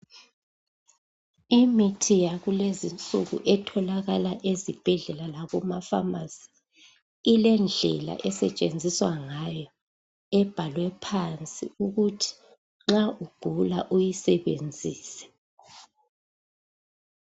Imithi yakulezinsuku etholakala ezibhedlela lakumafamasi ilendlela esetshenziswa ngayo ebhalwe phansi ukuthi nxa ugula uyisebenzise.